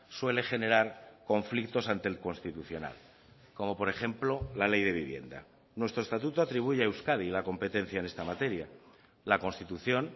suele generar conflictos ante el constitucional como por ejemplo la ley de vivienda nuestro estatuto atribuye a euskadi la competencia en esta materia la constitución